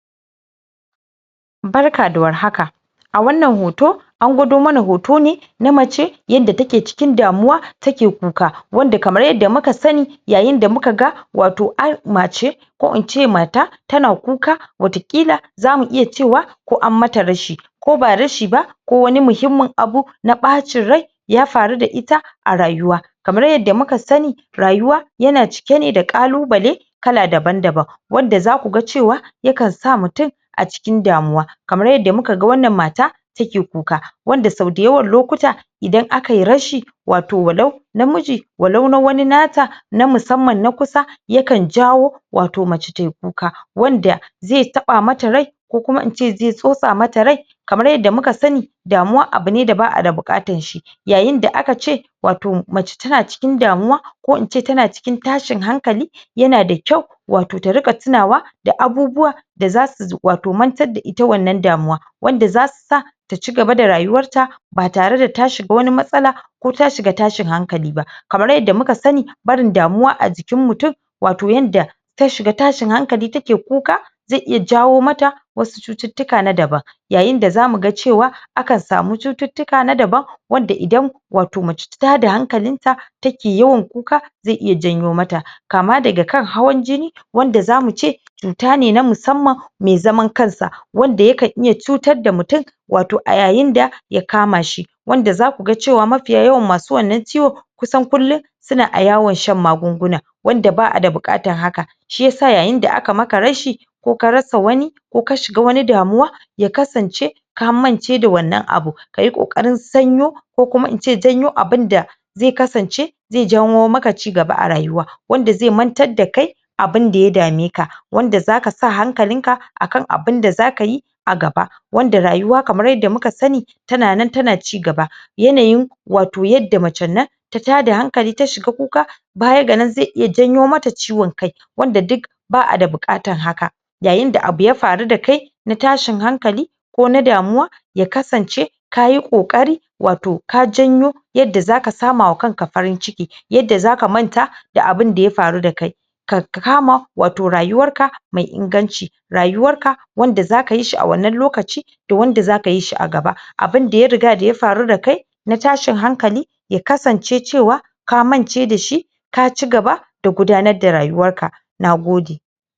Barka da war haka a wannan hoto an gudo mana hoto ne na mace yanda take cikin damuwa, take kuka wanda kamar yanda muka sani yayain da muka ga wato mace ko ince mata tana kuka watakila zamu iya cewa ko an mata rashi ko ba rashi ba, ko wani muhimmun abu na ɓaccin rai ya faru da ita a rayuwa kamar yada muka sani rayuwa yana cike ne da kalubale kala daban-daban wanda za kuga cewa yakan sa mutum acikin damuwa kamar yada mukaga wanan mata take kuka wanda sau dayawan lokuta idan akayi rashi watau walau na miji walau na wani nata, na musamman na kusa yakan jawo watau mace tayi kuka wanda ze taɓa mata rai ko kuma ince ze sosa mata rai kamar yanda muka sani damuwa abune da ba'ada bukatar shi yayin da aka ce watau mace tana cikin damuwa ko ince tana cikin tashin hankali yana da kyau watau ta rika tunawa da abubuwa da zasu watau matar da ita wannan damuwa wanda zasu sa ta cigaba da rayuwarta ba tare da ta shiga wani matsala ko ta shiga tashin hankali bakamar yanda muka sani barin damuwa a jikin mutum watau yanda ta shiga tashin hankali take kuka ze iya jawo mata wasu cuttutuka na daban yayin da za muga cewa akan samu cuttutuka na daban wanda idan watau mace ta tada hankalinta take yawan kuka ze iya janyo mata, kama daga kan hawan jini wanda za muce cutane na musamman me zaman kansa wanda yake iya cutar da mutum watau a yayin da ya kama shi wanda zakuga cewa mafi yawan masu ciwon kusan kullum suna a yawon shan magunguna wanda ba'a da bukatan haka shi yasa yayin da aka maka rashi ko ka rasa wani ko ka shiga wani damuwa ya kasance ka mance da wanan abun kayi kokarin sanyo ko kuma ince janyo abun da ze kasance ze jawo maka cigaba a rayuwa, wanda ze mantar da kai abun da ya dame ka wanda zaka sa hankalinka akan abun da za kayi a gaba wanda rayuwa kamar yanda muka sani tana nan tana cigaba yanayi watau yanda macen nan ta tada hankali ta shiga kuka bayan ganan ze iya janyo mata ciwon kai wanda duk ba'ada bukatan haka yayin da abu ya faru da kai na tashin hankali ko na damuwa ya kasance kayi kokari watau ka janyo yada zaka samawa kanka farin ciki yada zaka manta da abun da ya faru da kai ka kama watau rayuwarka mai inganci rayuwarka wanda zaka yishi a wannan lokacin da wanda zaka yi shi a gaba abun da ya riga ya faru da kai na tashin hankali ya kasance cewa ka mance da shi ka cigaba da gudanar da rayuwarka, na gode.